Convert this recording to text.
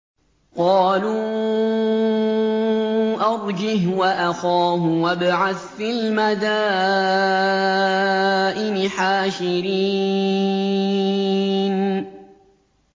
قَالُوا أَرْجِهْ وَأَخَاهُ وَابْعَثْ فِي الْمَدَائِنِ حَاشِرِينَ